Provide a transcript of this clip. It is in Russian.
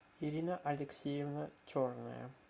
ирина алексеевна черная